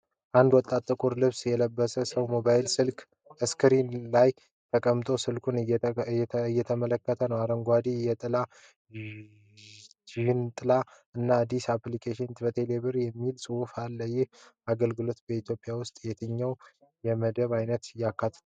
አንድ ወጣት ጥቁር ልብስ የለበሰ ሰው በሞባይል ስልክ ስክሪን ላይ ተቀምጦ ስልኩን እየተመለከተ ነው። አረንጓዴ የጥላ ዣንጥላ እና "አዲስ ኢንሹራንስ ከቴሌብር!" የሚል ጽሑፍ አለ። ይህ አገልግሎት በኢትዮጵያ ውስጥ የትኞቹን የመድን አይነቶች ያካትታል?